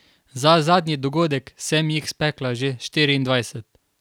Za zadnji dogodek sem jih spekla že štiriindvajset.